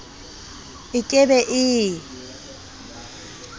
e ke be e e